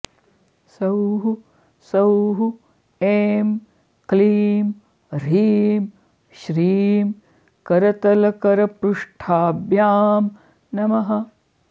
सौः सौः ऐं क्लीं ह्रीं श्रीं करतलकरपृष्ठाभ्यां नमः